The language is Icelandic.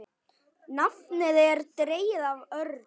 Nafnið er dregið af örn.